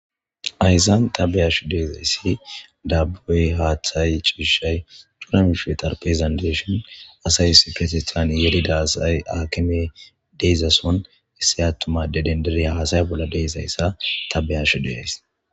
aysan tabeyashu deezayssi dabboy haaththay ciishay duurami shootar pezanteshon asayss fetistan yelida asay akime deezason hisse attuma dedendereya haasaya bolla deesayssa tabeyashu deyays